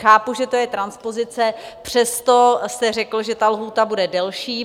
Chápu, že to je transpozice, přesto se řeklo, že ta lhůta bude delší.